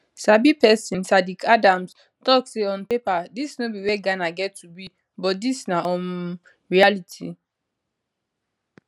sabi pesin saddick adams tok say on paper dis no be wia ghana get to be but dis na um reality